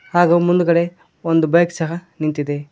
ಹಾಗು ಮುಂದುಗಡೆ ಒಂದು ಬೈಕ್ ಸಹ ನಿಂತಿದೆ.